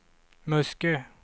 Muskö